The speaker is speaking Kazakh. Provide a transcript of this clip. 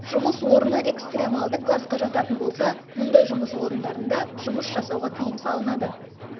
жұмыс орны экстремалды классқа жататын болса мұндай жұмыс орындарында жұмыс жасауға тиым салынады